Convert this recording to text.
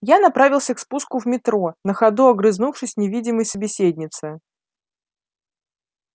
я направился к спуску в метро на ходу огрызнувшись невидимой собеседнице